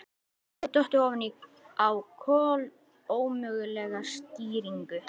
Ég hafði dottið ofan á kolómögulega skýringu.